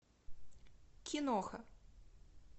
киноха